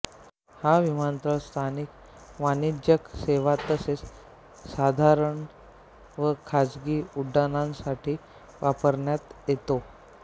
हा विमानतळ स्थानिक वाणिज्यिक सेवा तसेच साधारण व खाजगी उड्डाणांसाठी वापरण्यात येतो